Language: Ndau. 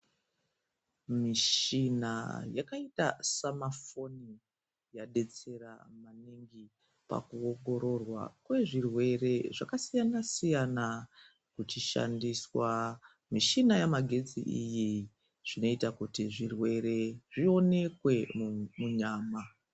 Michina yakaita semafoni yadetsera maningi mukuongororwa kwezvirwere zvakasiyana siyana kuchishandiswa michina yamagetsi iyi zvinoita kuti zvirwere zvionekwe munyama